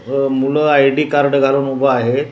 अ मुलं ID card घालून उभं आहे.